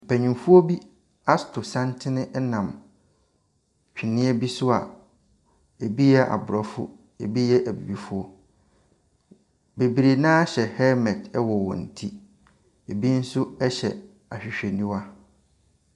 Mpanimfoɔ bi ato santene nam tweneɛ bi so a ebi yɛ aborɔfo, ebi yɛ abibifoɔ. Bebree no ara hyɛ helmet wɔ wɔn ti. Ebi nso hyɛ ahwehwɛniwa.